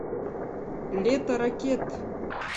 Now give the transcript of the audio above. лето ракет